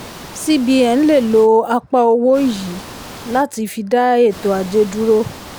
cbn lè lo apá owó yìí láti fi dá ètò ajé dúró.